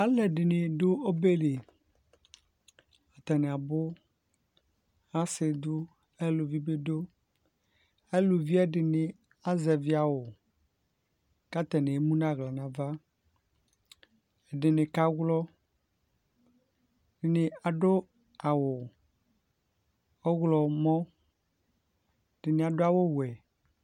Alʋ ɛdini dʋ obɛ li Atani abʋ Asi dʋ, aluvi bi dʋ Aluvi ɛdini azɛvi awʋ kʋ atani emu nʋ aɣla n'ava Ɛdini kawlɔ, ɛdini adʋ awʋ ɔwlɔmɔ Ɛdini adʋ awʋ wɛ